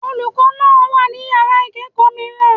Olùkọ́ náà wà ní Yàrá ìkẹ́ẹ̀kọ̀ mìíràn.